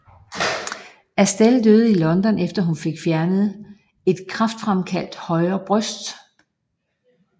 Astell døde i London efter hun fik fjernet et kræftfremkaldt højre bryst